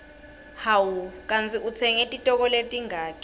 hawu kandzi utsenge titoko letingaki